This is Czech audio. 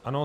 Ano.